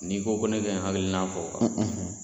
N'i ko ko ne ka n hakilina fɔ